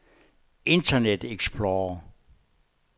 internet explorer